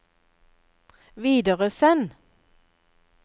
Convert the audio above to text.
videresend